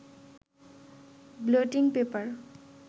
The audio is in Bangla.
ব্লটিং পেপারে